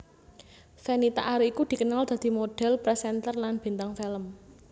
Fenita Arie iku dikenal dadi modhél presenter lan bintang film